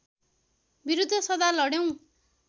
विरुद्ध सदा लड्यौँ